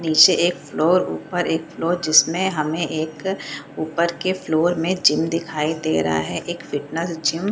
नीचे एक फ्लोर ऊपर एक फ्लोर जिसमें हमें एक ऊपर के फ्लोर में जिम दिखाई दे रहा है एक फिटनेस जिम --